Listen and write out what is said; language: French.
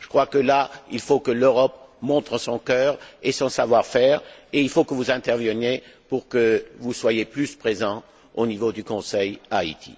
je crois que là, il faut que l'Europe montre son cœur et son savoir faire et il faut que vous interveniez pour que vous soyez plus présents au niveau du Conseil à Haïti